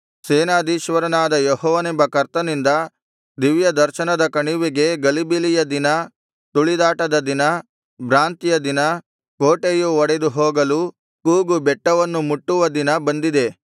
ಸೇನಾಧೀಶ್ವರನಾದ ಯೆಹೋವನೆಂಬ ಕರ್ತನಿಂದ ದಿವ್ಯದರ್ಶನದ ಕಣಿವೆಗೆ ಗಲಿಬಿಲಿಯ ದಿನ ತುಳಿದಾಟದ ದಿನ ಭ್ರಾಂತಿಯ ದಿನ ಕೋಟೆಯು ಒಡೆದು ಹೋಗಲು ಕೂಗು ಬೆಟ್ಟವನ್ನು ಮುಟ್ಟುವ ದಿನ ಬಂದಿದೆ